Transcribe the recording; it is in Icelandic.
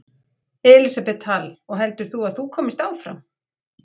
Elísabet Hall: Og heldur þú að þú komist áfram?